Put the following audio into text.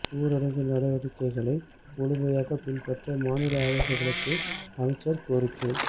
ஊரடங்கு நடவடிக்கைகளை முழுமையாக பின்பற்ற மாநில அரசுகளுக்கு அமைச்சர் கோரிக்கை